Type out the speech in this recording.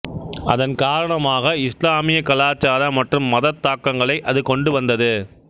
அதன் காரணமாக இஸ்லாமிய கலாச்சார மற்றும் மதத் தாக்கங்களை அது கொண்டு வந்தது